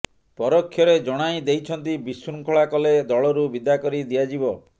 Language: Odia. ପରୋକ୍ଷରେ ଜଣାଇ ଦେଇଛନ୍ତି ବିଶୃଙ୍ଖଳା କଲେ ଦଳରୁ ବିଦା କରି ଦିଆଯିବ